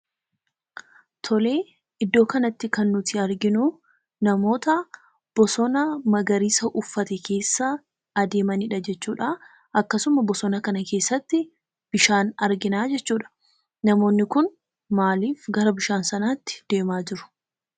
Tolee, iddoo kanatti kan nuti arginuu namoota bosona magariisa uffate keessa adeemanidha jechuudhaa. akkasuma bosona kana keessatti bishaan argina jechuudha . Namoonni kun maaliif gara bishaan kanaatti deemaa jiru?